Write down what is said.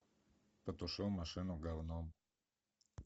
потушил машину говном